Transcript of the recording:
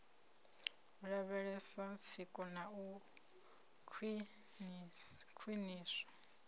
lavhelesa tsiko na u khwiniswa